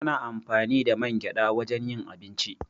Ana amfani da man gyaɗa wajen yin abinci.